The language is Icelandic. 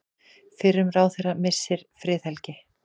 Fyrrum ráðherra missir friðhelgi